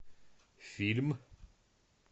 фильм